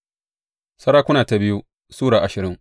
biyu Sarakuna Sura ashirin